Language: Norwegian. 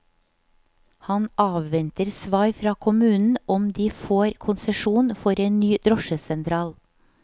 Han avventer svar fra kommunen om de får konsesjon for en ny drosjesentral.